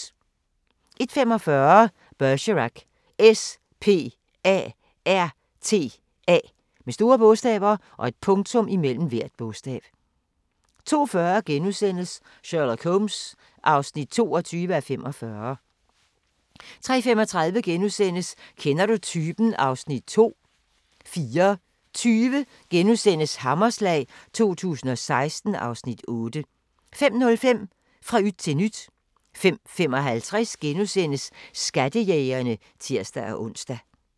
01:45: Bergerac: S.P.A.R.T.A. 02:40: Sherlock Holmes (22:45)* 03:35: Kender du typen? (Afs. 2)* 04:20: Hammerslag 2016 (Afs. 8)* 05:05: Fra yt til nyt 05:55: Skattejægerne *(tir-ons)